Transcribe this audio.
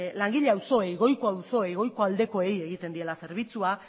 langile auzoei goiko auzoei egiten diela zerbitzua